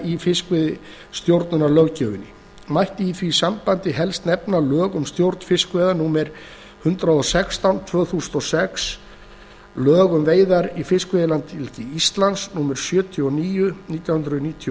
í fiskveiðistjórnarlöggjöfinni mætti í því sambandi helst nefna lög um stjórn fiskveiða númer hundrað og sextán tvö þúsund og sex lög um veiðar í fiskveiðilandhelgi íslands númer sjötíu og níu nítján hundruð níutíu og